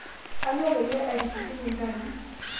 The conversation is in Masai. Anyo payie etushukunye nkaji